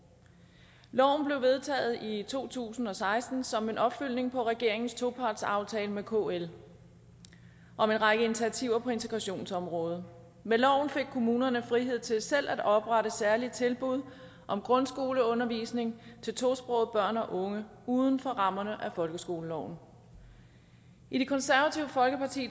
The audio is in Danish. loven blev vedtaget i to tusind og seksten som en opfølgning på regeringens topartsaftale med kl om en række initiativer på integrationsområdet med loven fik kommunerne frihed til selv at oprette særlige tilbud om grundskoleundervisning til tosprogede børn og unge uden for rammerne af folkeskoleloven i det konservative folkeparti